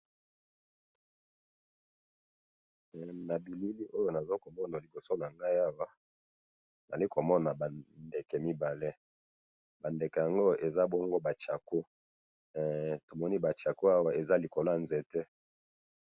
Na bilili oyo nazo komona liboso na ngai awa ,nazali komona ba ndeke mibale ,ba ndeke yango eza bongo ba chako, tomoni ba chako awa za likolo ya nzete